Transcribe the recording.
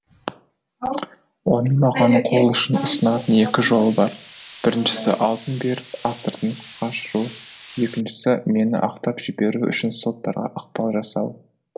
оның маған қолұшын ұсынатын екі жолы бар біріншісі алтын беріп астыртын қашыру екіншісі мені ақтап жіберуі үшін соттарға ықпал жасау